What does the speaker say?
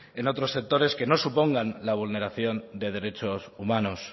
en otros sectores que no supongan la vulneración de derechos humanos